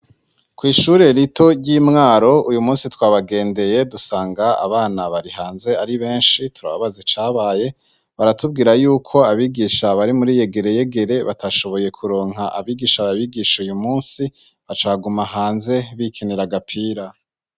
Kw'ishure rito ry'i Mwaro uyu munsi twabagendeye dusanga abana bari hanze ari benshi, turababaza icabaye baratubwira yuko abigisha bari muri yegere yegere batashoboye kuronka abigisha babigisha uyu munsi, baca baguma hanze bikinira gapira.